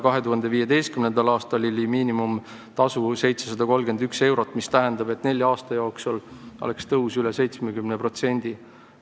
2015. aastal oli miinimumtasu 731 eurot, mis tähendab, et nelja aasta jooksul oleks tõus üle 70%.